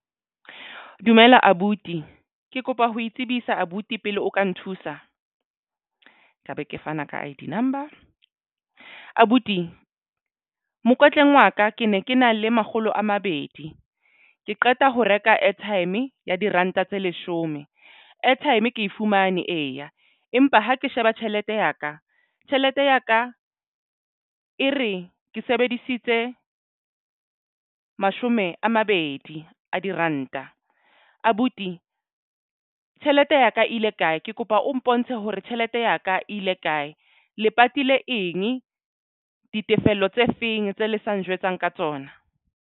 Dumela abuti ke kopa ho itsebisa abuti pele o ka nthusa ka be ke fana ka I_D number abuti Mokotleng wa ka ke ne ke na le makgolo a mabedi ke qeta ho reka airtime ya diranta tse leshome airtime ke fumane eya empa ha ke sheba tjhelete ya ka tjhelete ya ka e re ke sebedisitse mashome a mabedi a diranta abuti tjhelete ya ka ile kae? Ke kopa o mpontshe hore tjhelete ya ka ile kae le patile eng ditefello tse feng tse le sa njwetsang ka tsona?